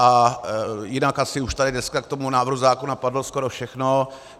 A jinak asi už tady dneska k tomu návrhu zákona padlo skoro všechno.